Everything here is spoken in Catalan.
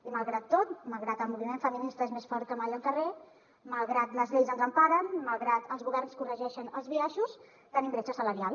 i malgrat tot malgrat que el moviment feminista és més fort que mai al carrer malgrat que les lleis ens emparen malgrat que els governs corregeixen els biaixos tenim bretxa salarial